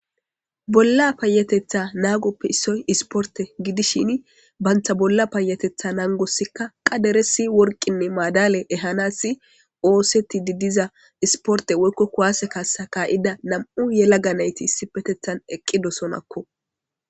bolla paayatetha naagoppe issoy isporte gidishin bantha bolla paayatetha nangossikka qaderesi worqinne maadale ehanassi ooseti didiza isporte woykko kuwaase kaasa kaa7ida nam7u yela ga nayti issi petethan eqqidosonakko